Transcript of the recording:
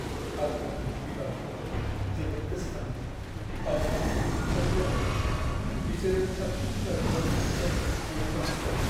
आं आंनि बिमा-बिफाफोरखौ जोबोद गोसोखांदों मानोना बिसोर रुंसारि जाबाय। बिसोरो साबसिन बिमा-बिफामोन जायखौ बयबो हास्थायो।